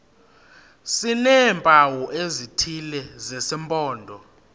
sineempawu ezithile zesimpondo